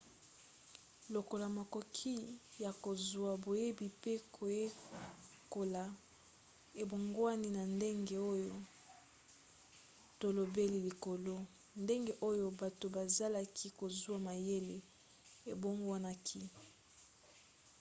lokola makoki ya kozwa boyebi pe koyekola ebongwani na ndenge oyo tolobeli likolo ndenge oyo bato bazalaki kozwa mayele ebongwanaki